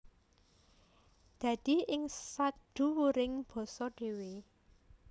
Dadi ing sadhuwuring basa dhéwé